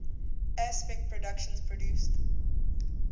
aspect productions produced